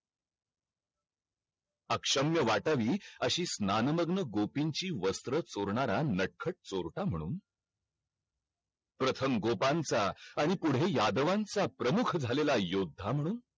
अक्षम्य वाटावी अशी स्नान मदनक गोपींची वस्त्र चोरणारा नटखट चोरटा म्हणून प्रथम गोपांचा आणि पुढे यादवांचा प्रमुख झालेल्या योद्धा म्हणून